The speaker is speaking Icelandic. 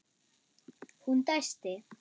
Hún dæsti.